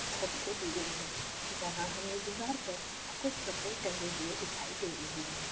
छत से दी गई है जहाँ हमे दीवार पर कुछ कपड़े टंगे हुए दिखाई दे रहे है।